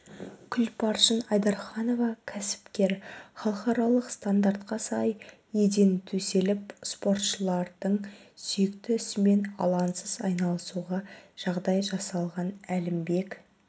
күлпаршын айдарханова кәсіпкер халықаралық стандартқа сай еден төселіп спортшылардың сүйікті ісімен алаңсыз айналысуға жағдай жасалған әлімбек